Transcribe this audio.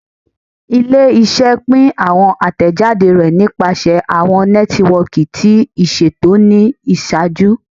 Ile-iṣẹ pin awọn atẹjade rẹ nipasẹ awọn nẹtiwọọki ti iṣeto ni iṣaaju